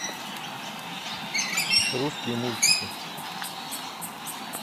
русские мультики